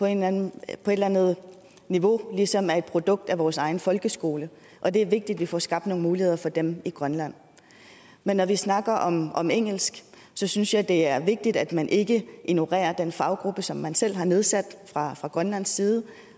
eller andet niveau ligesom er et produkt af vores egen folkeskole og det er vigtigt at vi får skabt nogle muligheder for dem i grønland men når vi snakker om om engelsk synes jeg det er vigtigt at man ikke ignorerer den faggruppe som man selv har nedsat fra fra grønlands side og